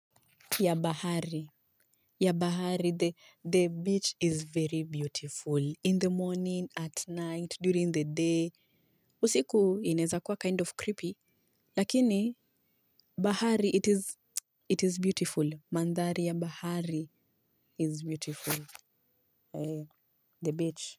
Ya bahari. Ya bahari. The beach is very beautiful. In the morning, at night, during the day. Usiku inaeza kuwa kind of creepy. Lakini bahari it is beautiful. Mandhari ya bahari is beautiful. The beach.